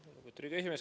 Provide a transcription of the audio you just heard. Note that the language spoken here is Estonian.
Lugupeetud esimees!